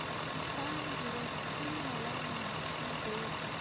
किसान दिवस ची मला माहिती दे